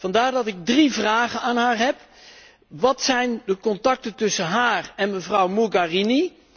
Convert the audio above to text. Vandaar dat ik drie vragen aan haar heb wat zijn de contacten tussen haar en mevrouw Mogherini?